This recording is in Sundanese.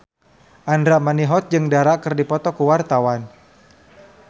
Andra Manihot jeung Dara keur dipoto ku wartawan